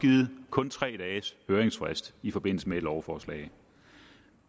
kun tre dages høringsfrist i forbindelse med et lovforslag